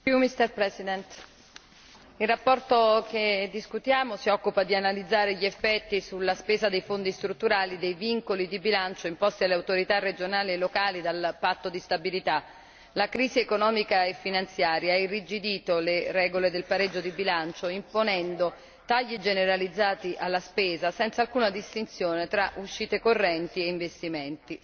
Signor Presidente, onorevoli colleghi, la relazione che discutiamo si occupa di analizzare gli effetti sulla spesa dei Fondi strutturali dei vincoli di bilancio imposti alle autorità regionali e locali dal patto di stabilità la crisi economica e finanziaria ha irrigidito le regole del pareggio di bilancio imponendo tagli generalizzati alla spesa senza alcuna distinzione tra uscite correnti e investimenti.